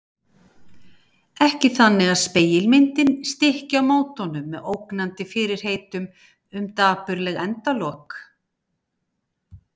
Ekki þannig að spegilmyndin stykki á móti honum með ógnandi fyrirheitum um dapurleg endalok.